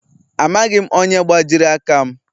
Amaghị m onye gbajiri aka m.